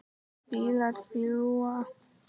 Bílar fljúga.